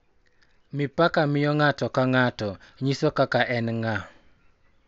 Mipaka miyo ng'ato ka ng'ato nyiso kaka en ng'a,